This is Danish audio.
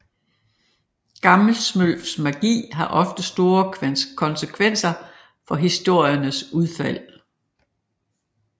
Gammelsmølfs magi har ofte store konsekvenser for historiernes udfald